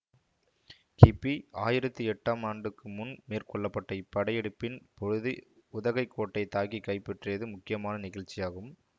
கிபி ஆயிரத்தி எட்டாம் ஆண்டுக்கு முன் மேற்கொள்ள பட்ட இப்படையெடுப்பின் பொழுது உதகைக் கோட்டை தாக்கி கைப்பற்றியது முக்கியமான நிகழ்ச்சியாகும்